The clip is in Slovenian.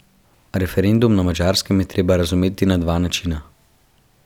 Referendum na Madžarskem je treba razumeti na dva načina.